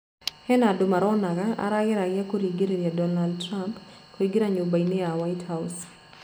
he andũ maraonaga arageria kũrigĩrĩrĩria Donald Trump Kuingĩra nyũmbainĩ ya whitehouse.